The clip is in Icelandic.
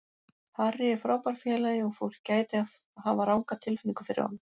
Harry er frábær félagi og fólk gæti hafa ranga tilfinningu fyrir honum.